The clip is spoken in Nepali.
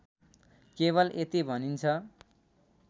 केवल यति भनिन्छ